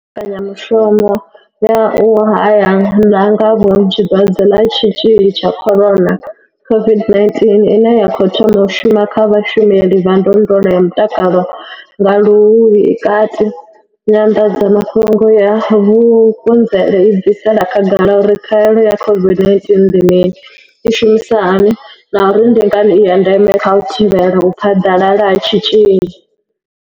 Mbekanyamushumo ya u hae la nga vhunzhi dwadze ḽa tshitzhili tsha corona COVID-19 ine ya khou thoma u shuma kha vhashumeli vha ndondolo ya mutakalo nga luhuhi i kati, Nyanḓadzamafhungo ya Vukuzenzele i bvisela khagala uri khaelo ya COVID-19 ndi mini, i shumisa hani na uri ndi ngani i ya ndeme kha u thivhela u phaḓalala ha tshitzhili.